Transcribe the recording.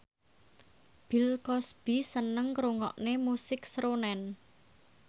Bill Cosby seneng ngrungokne musik srunen